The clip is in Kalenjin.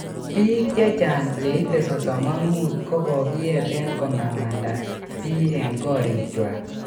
Pik chechang che ite 35 ko kogiyeten komamanda pii en korikuak